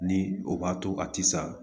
Ni o b'a to a tɛ sa